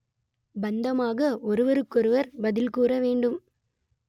பாந்தமாக ஒருவருக்கு ஒருவர் பதில் கூற வேண்டும்